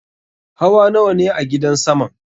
Hawa nawane a gidan saman?